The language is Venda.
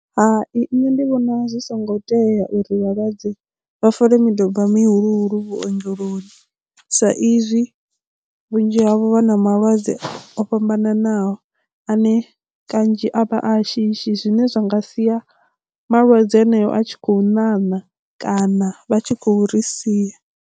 Hai nṋe ndi vhona zwi songo tea uri vhalwadze vha fole miduba mihulu vhuongeloni sa izwi vhunzhi havho vha na malwadze o fhambananaho ane kanzhi a vha a shishi zwine zwa nga sia malwadze aneyo a tshi khou ṋaṋa kana vha tshi khou ri sia.